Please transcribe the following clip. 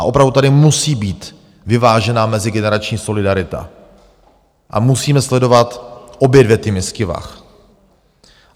A opravdu tady musí být vyvážená mezigenerační solidarita a musíme sledovat obě dvě ty misky vah.